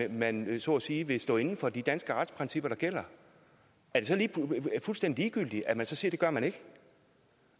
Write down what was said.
at man så at sige vil stå inde for de danske retsprincipper der gælder er det så fuldstændig ligegyldigt at man så siger at det gør man ikke